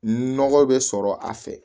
Nɔgɔ bɛ sɔrɔ a fɛ